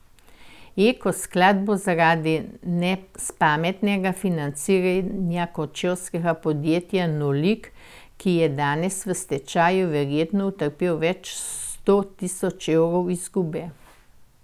Eko sklad bo zaradi nespametnega financiranja kočevskega podjetja Nolik, ki je danes v stečaju, verjetno utrpel več sto tisoč evrov izgube.